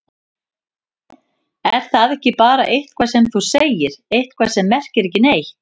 Er það ekki bara eitthvað sem þú segir, eitthvað sem merkir ekki neitt?